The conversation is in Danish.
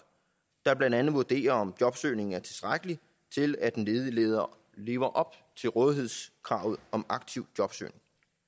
der blandt andet vurderer om jobsøgningen er tilstrækkelig til at den ledige lever lever op til rådighedskravet om aktiv jobsøgning